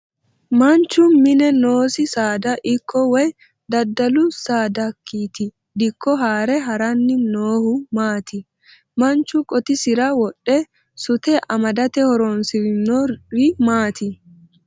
Manchu mine noosi saada ikko woyi dadalu saadakiti dikko haare haranni noohu maati? Machu qotisira wodhe sute amadate horoonsirinori maati?